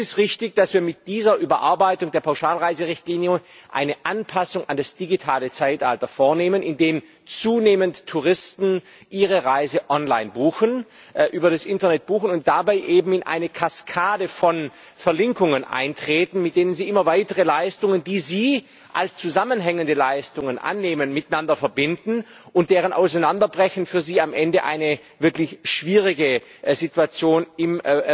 Es ist richtig, dass wir mit dieser Überarbeitung der Pauschalreiserichtlinie eine Anpassung an das digitale Zeitalter vornehmen, indem zunehmend Touristen ihre Reise über das Internet buchen und dabei eben in eine Kaskade von Verlinkungen eintreten, mit denen sie immer weitere Leistungen, die sie als zusammenhängende Leistungen annehmen, miteinander verbinden, und deren Auseinanderbrechen für sie am Ende eine wirklich schwierige Situation im